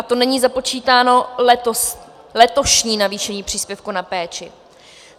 A to není započítáno letošní navýšení příspěvku na péči.